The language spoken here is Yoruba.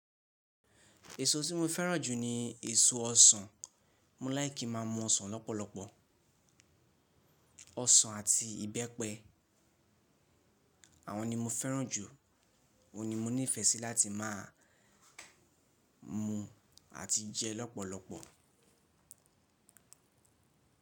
Èso tí mo fẹ́ràn jù ni èso ọsàn. Mo láì kí má mọ ọsàn lọ́pọ̀lọpọ̀. Ọsàn àti ìbẹ́pẹ, àwọn ni mo fẹ́ràn jù. Ó n ni mo nífẹ̀ẹ́ sí láti máa mu àti jẹ lọ́pọ̀lọpọ̀.